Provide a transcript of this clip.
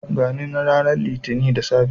Gani na ranar litinin da safe